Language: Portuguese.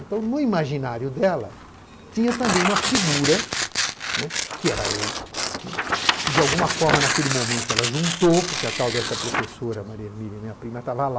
Então, no imaginário dela, tinha também uma figura, né, que era eu, né, que de alguma forma naquele momento ela juntou, porque a tal dessa professora Maria Hermínia, minha prima, estava lá.